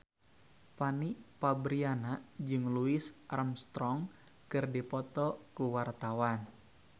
Fanny Fabriana jeung Louis Armstrong keur dipoto ku wartawan